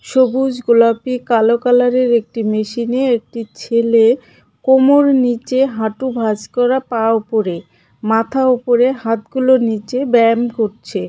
সবুজ গোলাপি কালো কালারের একটি মেশিনে একটি ছেলে কোমর নীচে হাঁটু ভাঁজ করা পা ওপরে মাথা ওপরে হাতগুলো নীচে ব্যাম করছে .